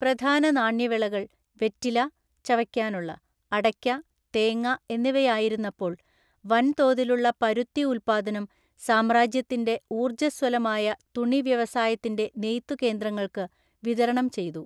പ്രധാന നാണ്യവിളകൾ, വെറ്റില, (ചവയ്ക്കാനുള്ള) അടയ്ക്ക, തേങ്ങ എന്നിവയായിരുന്നപ്പോള്‍ വൻതോതിലുള്ള പരുത്തി ഉത്പാദനം സാമ്രാജ്യത്തിന്‍റെ ഊർജ്ജസ്വലമായ തുണി വ്യവസായത്തിന്‍റെ നെയ്ത്തുകേന്ദ്രങ്ങൾക്ക് വിതരണം ചെയ്തു.